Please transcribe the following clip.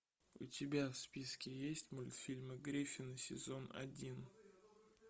у тебя в списке есть мультфильмы гриффины сезон один